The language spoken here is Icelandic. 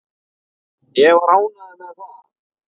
Ég var ánægður með það.